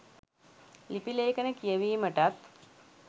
ලිපි ලේඛන කියවීමටත්